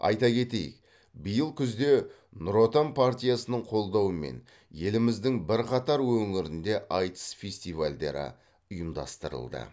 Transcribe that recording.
айта кетейік биыл күзде нұр отан партиясының қолдауымен еліміздің бірқатар өңірінде айтыс фестивальдері ұйымдастырылды